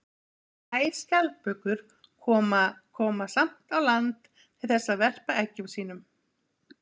Þessar sæskjaldbökur koma koma samt á land til þess að verpa eggjum sínum.